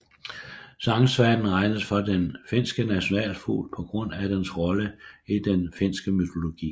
Sangsvanen regnes for den finske nationalfugl på grund af dens rolle i den finske mytologi